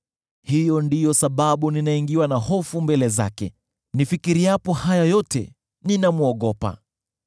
Hiyo ndiyo sababu ninaingiwa na hofu mbele zake; nifikiriapo haya yote ninamwogopa.